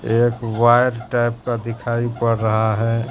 एक wire type का दिखाई पड़ रहा है।